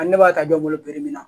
Ani ne b'a ta don n bolo min na